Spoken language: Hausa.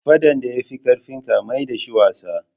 Faɗan da ya fi ƙarfinka maida shi wasa.